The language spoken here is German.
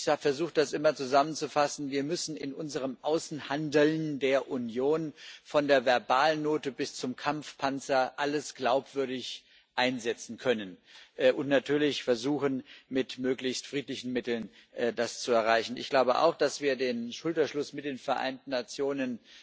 Ich versuche immer, das zusammenzufassen Wir müssen in unserem Außenhandeln der Union von der Verbalnote bis zum Kampfpanzer alles glaubwürdig einsetzen können und natürlich versuchen, das mit möglichst friedlichen Mitteln zu erreichen. Ich glaube auch, dass wir den Schulterschluss mit den Vereinten Nationen